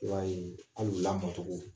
I b'a ye alu lamɔn togo